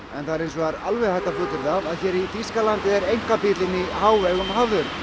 það er hins vegar vel hægt að fullyrða að hér í Þýskalandi er einkabílinn í hávegum hafður